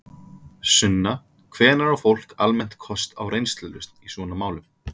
Sunna: Hvenær á fólk almennt kost á reynslulausn í svona málum?